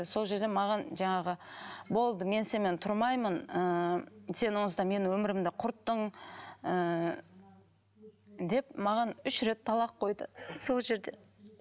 сол жерде маған жаңағы болды мен сенімен тұрмаймын ыыы сен осылай менің өмірімді құрттың ыыы деп маған үш рет талақ қойды сол жерде